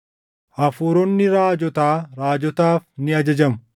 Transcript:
Hafuuronni raajotaa raajotaaf ni ajajamu.